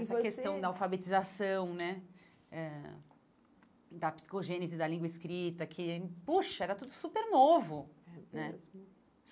E você essa questão da alfabetização né eh, da psicogênese, da língua escrita, que, eh poxa, era tudo super novo. É mesmo